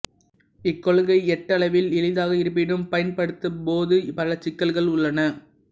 இக்கொள்கை ஏட்டளவில் எளிதாக இருப்பினும் பயன்படுத்தும்போது பல சிக்கல்கள் உள்ளன